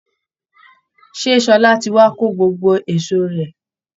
Ṣé Ṣọlá ti wá kó gbogbo èsó rẹ̀